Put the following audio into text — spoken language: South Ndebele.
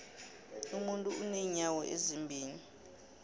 umuntu unenyawo ezimbili